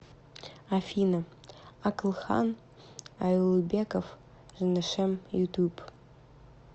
афина акылхан ауелбеков женешем ютуб